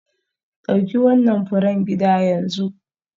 Dauki wannan furen gida yanzu.